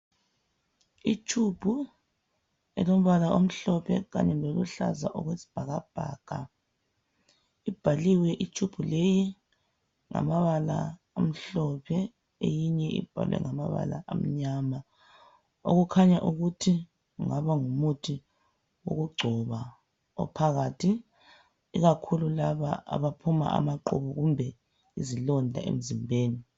i tube elombala omhlophe loluhlaza okwesibhakabhaka ibhaliwe i tube leyi ngamabala amhlophe eyinye ibhalwe ngamabala amnyama okukhanya ukuthi kungaba ngumuthi wokugcoba ophakathi ikakhulu laba abaphuma amaqhubu kumbe izilonda emzimbeni